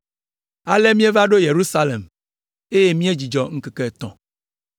Ale míeva ɖo Yerusalem, eye míedzudzɔ ŋkeke etɔ̃.